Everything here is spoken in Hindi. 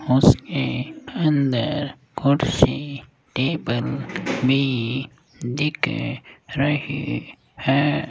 उसके अंदर कुर्सी टेबल भी दिख रहे है।